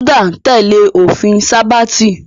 Ẹ̀sìn Júdà ń tẹ́lẹ̀ òfin sábáàtì